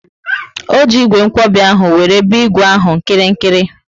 O ji ígwè nkwobi ahụ wéré be ígwè ahụ nkirikiri